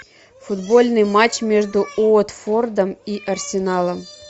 футбольный матч между уотфордом и арсеналом